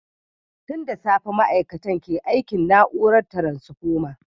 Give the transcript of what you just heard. Tun da safe ma’aikatan ke aikin na’urar taransfoma.